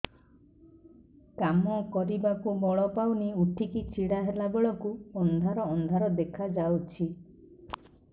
କାମ କରିବାକୁ ବଳ ପାଉନି ଉଠିକି ଛିଡା ହେଲା ବେଳକୁ ଅନ୍ଧାର ଅନ୍ଧାର ଦେଖା ଯାଉଛି